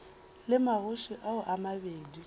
le magoši ao a mabedi